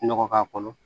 Nɔgɔ k'a kɔnɔ